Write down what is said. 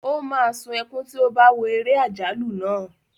O máa sún ẹkún tí ó bá wo eré àjálù náà.